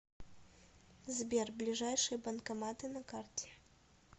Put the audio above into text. сбер ближайшие банкоматы на карте